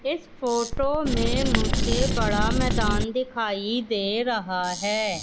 इस फोटो ने मुझे बड़ा मैदान दिखाई दे रहा है।